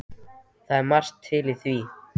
Það er margt til í því.